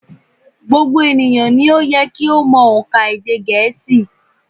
Gbogbo ènìyàn ni ó yẹ kí ó mọ ònkà èdè gẹ̀ẹ́sì